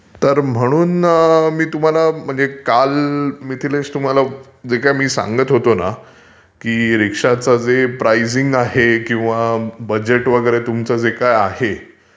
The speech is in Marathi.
तर म्हणून मी तुम्हाला म्हणजे काल मिथिलेश तुम्हाला जे काही मी सांगत होतो ना, की रिक्षाचं जे प्राइजिंग आहे किंवा बजेट वगैरे तुमचं जे काही आहे,